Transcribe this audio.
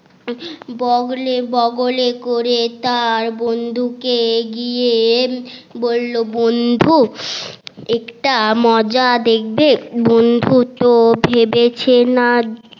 বগলে বগলে করে তার বন্ধুকে গিয়ে বললো বন্ধু একটা মজা দেখবে বন্ধু তো ভেবেছে না